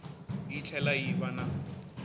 yi tlhela yi va na